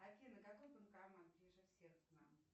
афина какой банкомат ближе всех к нам